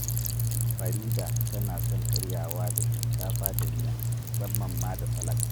Farida tana son karyawa da shinkafa da miya, musamman ma da salak